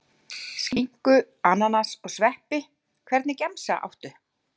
Skinku, ananas og sveppi Hvernig gemsa áttu?